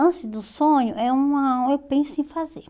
Antes do sonho, é uma eu penso em fazer.